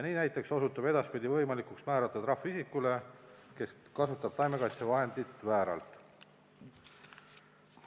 Näiteks osutub edaspidi võimalikuks määrata trahv isikule, kes kasutab taimekaitsevahendit vääralt.